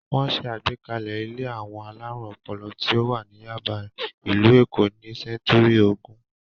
Wọ́n ṣe àgbékalẹ̀ ilé àwọn alárùn ọpọlọ tí ó wà ní Yáàbá, ìlú Èkó ní sẹ́ńtúrì ogún.